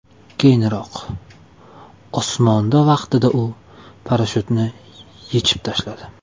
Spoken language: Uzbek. Keyinroq, osmonda vaqtida u parashyutni yechib tashladi.